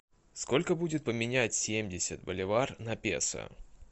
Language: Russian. сколько будет поменять семьдесят боливар на песо